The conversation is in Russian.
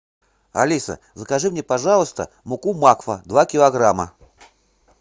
алиса закажи мне пожалуйста муку макфа два килограмма